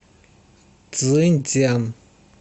цзиньцзян